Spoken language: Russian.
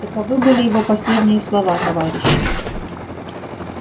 таковы были его последние слова товарищи